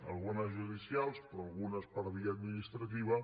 algunes judicials però algunes per via administrativa